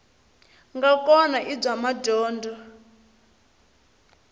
nga kona i bya madyondza